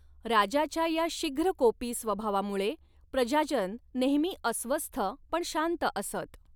राजाच्या या शीघ्रकोपी स्वभावामुळे प्रजाजन नेहमी अस्वस्थ पण शांत असत.